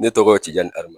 Ne tɔgɔ tiɲɛni a ma